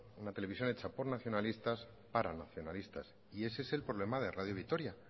una televisión hecha por nacionalistas para nacionalistas y ese es el problema de radio vitoria